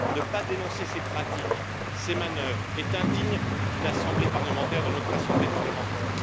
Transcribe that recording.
Ne pas dénoncer ces pratiques, ces manœuvres, est indigne d'une assemblée parlementaire, de notre assemblée parlementaire.